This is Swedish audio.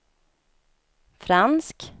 fransk